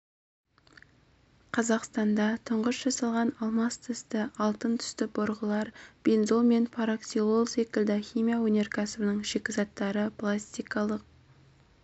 қазақстанда тұңғыш жасалған алмас тісті алтын түсті бұрғылар бензол мен параксилол секілді химия өнеркәсібінің шикізаттары пластикалық